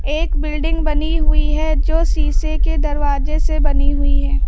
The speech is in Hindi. एक बिल्डिंग बनी हुई है जो शीशे के दरवाजे से बनी हुई है।